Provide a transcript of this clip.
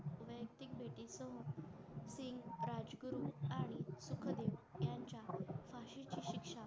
व पुढे याना फाशी ची शिक्षा